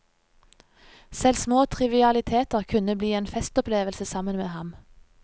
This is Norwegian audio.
Selv små trivialiteter kunne bli en festopplevelse sammen men ham.